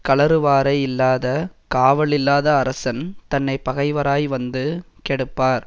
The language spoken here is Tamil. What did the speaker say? கழறுவாரை யில்லாத காவலில்லாத அரசன் தன்னை பகைவராய் வந்து கெடுப்பார்